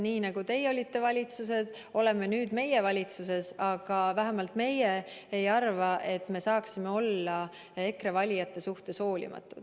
Nii nagu teie olite valitsuses, oleme nüüd meie valitsuses, aga vähemalt meie ei arva, et me saaksime olla EKRE valijate suhtes hoolimatud.